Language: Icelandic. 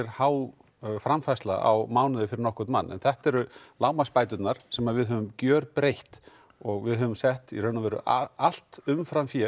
há framfærsla á mánuði fyrir nokkurn mann en þetta eru lágmarksbæturnar sem við höfum gjörbreytt og við höfum sett í raun og veru allt umframfé